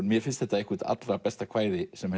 mér finnst þetta eitt allra besta kvæði sem